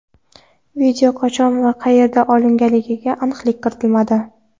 Video qachon va qayerda olinganiga aniqlik kiritilmadi.